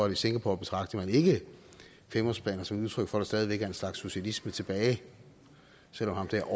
at i singapore betragter man ikke femårsplaner som et udtryk for at der stadig væk er en slags socialisme tilbage selv om ham der